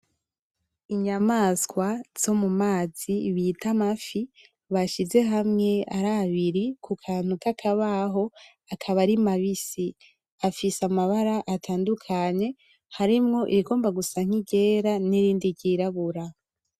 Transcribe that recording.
Inyamaswa zomumazi bita amafi, bashize hamwe arabari kukantu kakabaho akaba ari mabisi. Afise amabara atandukanye, harimwo irigomba gusa niryera nirindi ryirabura.